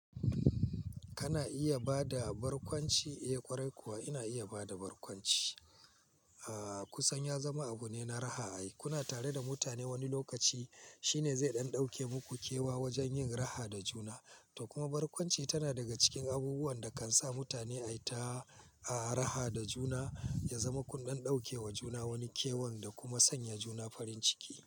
Kana iya bada barkwanci? Eh ƙwarai kuwa ina iya bada barkwanci. Aaa kusan ya zama abu ne na raha. Ai kuna tare da mutane wani lokaci shine zai ɗan ɗauke muku kewa wajen yin raha da juna. To kuma barkwanci tana daga cikin abubuwan da kan sa mutane a yi ta raha da juna, ya zama kundan ɗauke wa juna wani kewan da kuma sanya juna farin ciki.